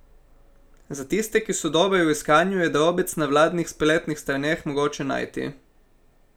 Za tiste, ki so dobri v iskanju, je drobec na vladnih spletnih straneh mogoče najti.